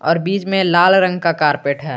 और बीच में लाल रंग का कारपेट है।